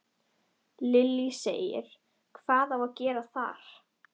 Lillý: Hvað á að gera þar?